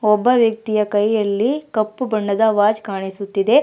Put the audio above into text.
ಒಬ್ಬ ವ್ಯಕ್ತಿಯ ಕೈಯಲ್ಲಿ ಕಪ್ಪು ಬಣ್ಣದ ವಾಚ್ ಕಾಣಿಸುತ್ತಿದೆ.